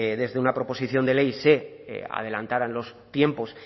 desde una proposición de ley se adelantaran los tiempos